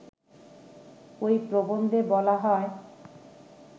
ঐ প্রবন্ধে বলা হয়